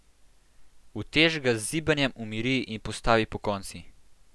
Utež ga z zibanjem umiri in postavi pokonci.